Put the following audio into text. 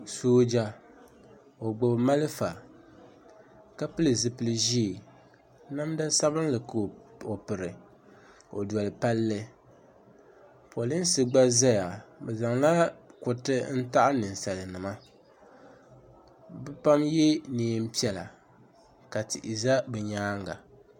Sooja o gbibi malifa ka pili zipil'ʒee namda sabinli ka o piri o doli palli polinsi gba zaya bɛ zaŋla kuriti n taɣi ninsalinima bɛ pam ye niɛn'piɛla ka tihi za bɛ nyaanga.